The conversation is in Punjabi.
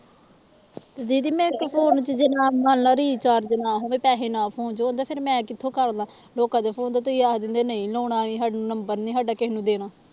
ਤੇ ਦੀਦੀ ਮੇਰੇ phone ਚ ਜੇ ਨਾ ਮਨ ਲਾ recharge ਨਾ ਹੋਵੇ ਪੈਸੇ ਨਾ ਹੋਣ ਤੇ ਓਦਾਂ ਫਿਰ ਮੈਂ ਕਿੱਥੋਂ ਕਰ ਲਾ ਲੋਕਾਂ ਦੇ phone ਤੋਂ ਤੁਸੀਂ ਆਖ ਦਿੰਦੇ ਨਹੀਂ ਲਾਉਣਾ ਸਾ number ਨੀ ਸਾਡਾ ਕਿਸੇ ਨੂੰ ਦੇਣਾ।